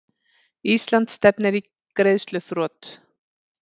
Ísland stefnir í greiðsluþrot